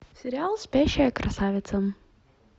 сериал спящая красавица